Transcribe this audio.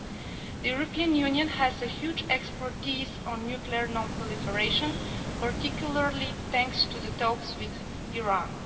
The European Union has a huge expertise on nuclear non proliferation, particularly thanks to the talks with Iran.